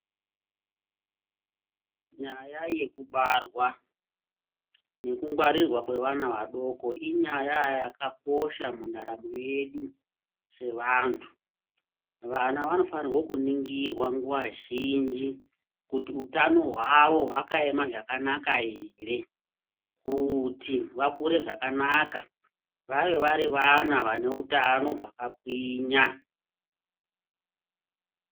Nyaya yekubarwa nekungwarirwa kwevana vadoko inyaya yakakosha mundaramo yedu sevantu. Vana vanofanirwa kuningirwa nguva zhinji kuti utano havo hwakaema zvakanaka ere. Kuti vakure zvakanaka vave vari vana vane utano hwakagwinya.